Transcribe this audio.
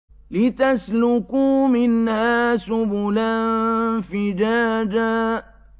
لِّتَسْلُكُوا مِنْهَا سُبُلًا فِجَاجًا